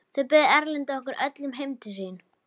Þá bauð Erlendur okkur öllum heim til sín.